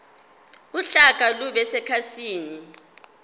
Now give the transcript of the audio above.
uhlaka lube sekhasini